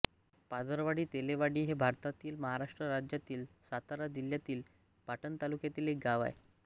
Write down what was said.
पाधरवाडी तेलेवाडी हे भारतातील महाराष्ट्र राज्यातील सातारा जिल्ह्यातील पाटण तालुक्यातील एक गाव आहे